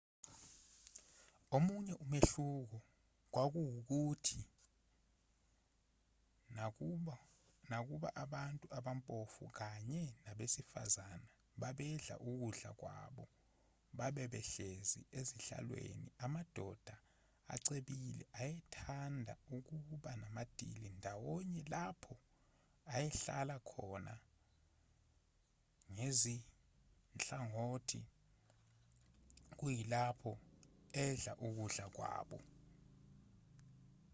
omunye umehluko kwakuwukuthi nakuba abantu abampofu kanye nabesifazane babedla ukudla kwabo babe behlezi ezihlalweni amadoda acebile ayethanda ukuba namadili ndawonye lapho ayehlala khona ngezinhlangothi kuyilapho edla ukudla kwawo